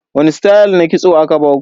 Wani stayal na kitso aka baku?